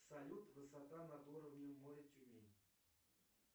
салют высота над уровнем моря тюмень